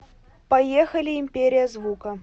поехали империя звука